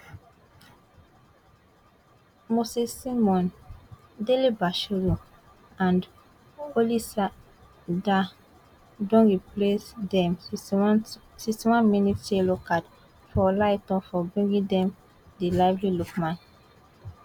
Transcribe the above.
Moses Simon, Dele Bashiru and Olisah Ndah don replace dem sixty oneth sixty one mins yellow card for olaitan for bringing down di lively lookman